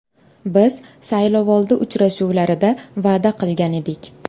Biz saylovoldi uchrashuvlarida va’da qilgan edik.